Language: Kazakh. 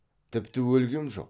тіпті өлгем жоқ